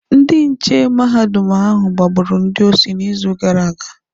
Ndị nche mahadum ahụ gbagburu ndị osi n'izu gara aga